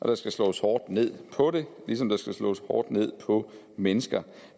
der skal slås hårdt ned på det ligesom der skal slås hårdt ned på mennesker